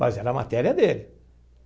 Mas era matéria dele.